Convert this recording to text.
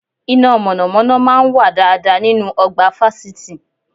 Iná mọ̀nàmọ́ná máa ń wà dáadáa nínú ọgbà fásitì